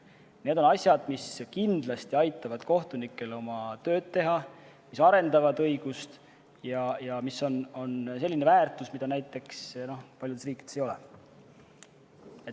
Need on asjad, mis kindlasti aitavad kohtunikel oma tööd teha, arendavad õigust ja on selline väärtus, mida näiteks paljudes riikides ei ole.